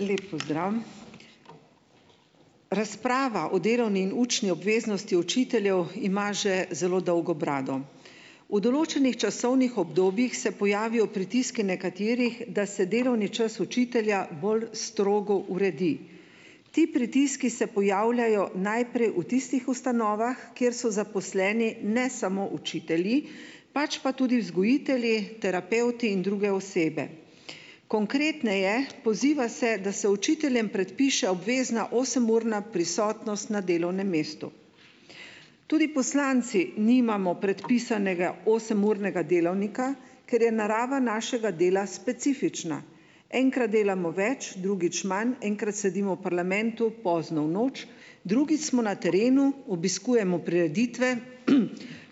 Lep pozdrav. Razprava o delovni in učni obveznosti učiteljev ima že zelo dolgo brado. V določenih časovnih obdobjih se pojavijo pritiski nekaterih, da se delovni čas učitelja bolj strogo uredi. Ti pritiski se pojavljajo najprej v tistih ustanovah, kjer so zaposleni ne samo učitelji, pač pa tudi vzgojitelji, terapevti in druge osebe. Konkretneje, poziva se, da se učiteljem predpiše obvezna osemurna prisotnost na delovnem mestu. Tudi poslanci nimamo predpisanega osemurnega delovnika, ker je narava našega dela specifična. Enkrat delamo več, drugič manj, enkrat sedimo v parlamentu pozno v noč, drugič smo na terenu, obiskujemo prireditve,